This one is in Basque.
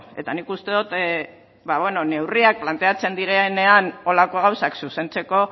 eta nik uste dut ba beno neurriak planteatzen direnean horrelako gauzak zuzentzeko